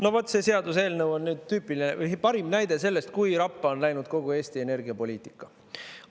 No vot, see seaduseelnõu on parim näide sellest, kui rappa on läinud kogu Eesti energiapoliitika.